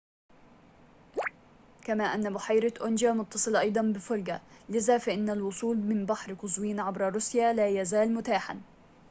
كما أن بحيرة أونجا متصلة أيضاً بفولجا لذا فإن الوصول من بحر قزوين عبر روسيا لا يزال متاحاً